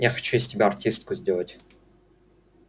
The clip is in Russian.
я хочу с тебя артистку сделать